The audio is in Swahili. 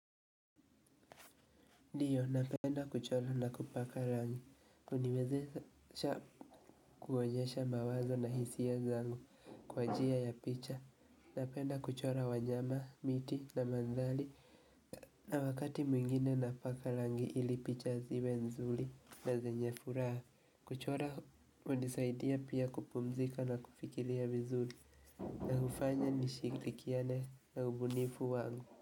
Ndiyo napenda kuchora na kupaka rangi, uniwezesha kuonyesha mawazo na hisia zangu kwa njia ya picha, napenda kuchora wanyama, miti na mandhari, na wakati mwingine napaka rangi ili picha ziwe nzuri na zenye furaha, kuchora hunisaidia pia kupumzika na kufikiria vizuri, na hufanya nishirikiane na ubunifu wangu.